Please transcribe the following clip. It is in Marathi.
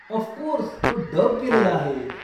ऑफकोर्स, तो डब केलेला आहे.